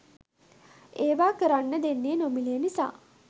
ඒවා කරන්නේ දෙන්නේ නොමිලේ නිසා.